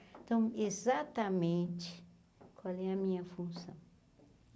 Então, exatamente qual é a minha função?